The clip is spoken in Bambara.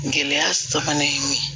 Gɛlɛya sabanan ye mun ye